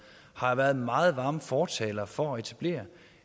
har været meget varme fortalere for at etablere